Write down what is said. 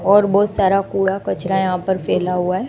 और बहुत सारा कूड़ा कचरा यहां पर फैला हुआ हैं।